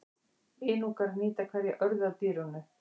Inúkar nýta hverja örðu af dýrinu.